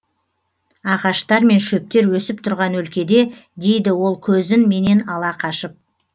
ағаштар мен шөптер өсіп тұрған өлкеде дейді ол көзін менен ала қашып